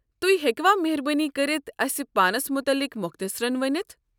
تُہۍ ہیٚکوٕ مہربٲنی كٔرتھ اسہِ پانس مُتعلق مۄختصرن ؤنِتھ؟